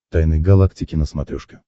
тайны галактики на смотрешке